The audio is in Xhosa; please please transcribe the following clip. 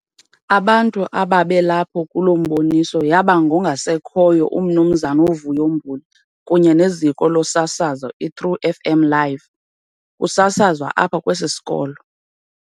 Abantu ababelapho kuloo mboniso yaba ngongasekhoyo uMnumzana uVuyo Mbuli kunye neziko losasazo "iTru FM live" kusasazwa apha kwesi sikolo.